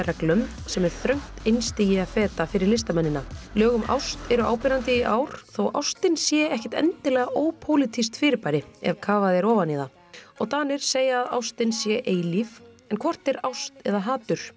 sem er þröngt einstigi að feta fyrir listamennina lög um ást eru áberandi í ár þótt ástin sé ekkert endilega ópólitískt fyrirbæri ef kafað er ofan í það og Danir segja að ástin sé eilíf en hvort er ást eða hatur